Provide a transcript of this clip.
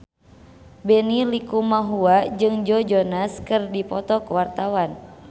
Benny Likumahua jeung Joe Jonas keur dipoto ku wartawan